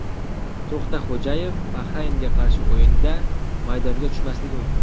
To‘xtaxo‘jayev Bahraynga qarshi o‘yinda maydonga tushmasligi mumkin .